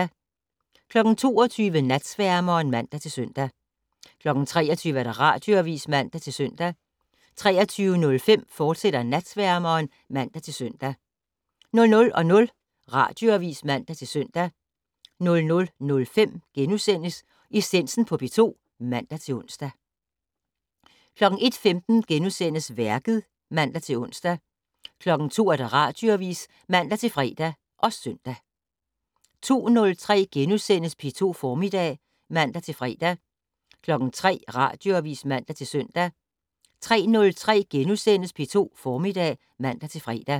22:00: Natsværmeren (man-søn) 23:00: Radioavis (man-søn) 23:05: Natsværmeren, fortsat (man-søn) 00:00: Radioavis (man-søn) 00:05: Essensen på P2 *(man-ons) 01:15: Værket *(man-ons) 02:00: Radioavis (man-fre og søn) 02:03: P2 Formiddag *(man-fre) 03:00: Radioavis (man-søn) 03:03: P2 Formiddag *(man-fre)